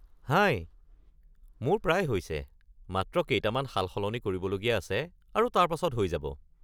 হাই, মোৰ প্ৰায় হৈছে; মাত্ৰ কেইটামান সালসলনি কৰিবলগীয়া আছে আৰু তাৰ পাছত হৈ যাব।